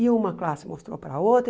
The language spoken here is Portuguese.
E uma classe mostrou para a outra.